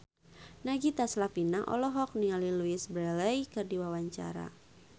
Nagita Slavina olohok ningali Louise Brealey keur diwawancara